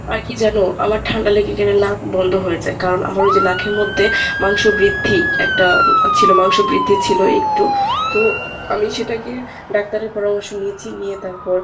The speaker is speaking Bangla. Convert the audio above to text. আর কী জানো আমার ঠান্ডা লেগে গেলে নাক বন্ধ হয়ে যায় কারণ আমার ঐযে নাকের মধ্যে মাংস বৃদ্ধি একটা আহ ছিল মাংস বৃদ্ধি ছিল একটু তো আমি সেটাকে doctor এর পরামর্শ নিয়েছি, নিয়ে তারপর